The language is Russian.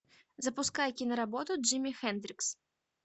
запускай киноработу джимми хендрикс